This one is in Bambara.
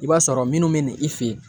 I b'a sɔrɔ minnu bɛ na i fɛ yen